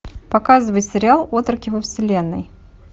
показывай сериал отроки во вселенной